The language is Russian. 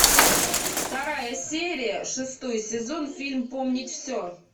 вторая серия шестой сезон фильм помнить все